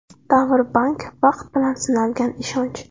Davr Bank Vaqt bilan sinalgan ishonch!